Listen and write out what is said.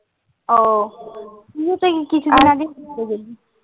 তুইও তো এই কিছুদিন আগে ঘুরতে গেলি